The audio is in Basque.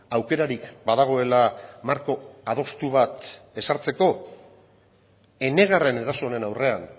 aukerarik badagoela marko adostu bat ezartzeko enegarren eraso honen aurrean